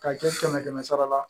K'a kɛ kɛmɛ kɛmɛ sara la